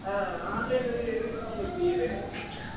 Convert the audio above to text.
ஆ online ல எதுக்கு டா உங்கல்லுக்கு leave